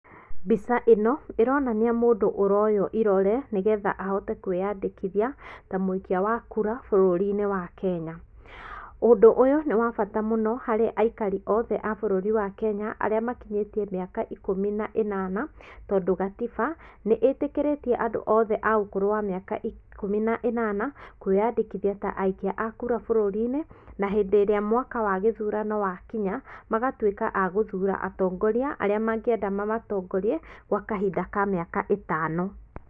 Mbica ĩno ĩronania mũndũ ũroywo irore nĩgetha ahote kwĩandĩkithia ta mũikia wa kũra bũrũri-inĩ wa Kenya. Ũndũ ũyũ nĩ wabata mũno harĩ aikari othe a bũrũri wa Kenya arĩa makinyĩte mĩaka ikũmi na ĩnana tondũ gatiba nĩitĩkĩrĩtie andũ othe aũkũrũ wa mĩaka ĩkũmi na ĩnana kwĩandĩkithia aikia a kura bũrũri-inĩ rĩrĩa mwaka wa gĩthurano wakinya magatuĩka a gũthura atongoria arĩa mangĩenda mamatongorie kwa kahinda ka mĩaka ĩtano.